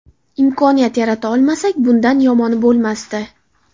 Imkoniyat yarata olmasak, bundan yomoni bo‘lmasdi.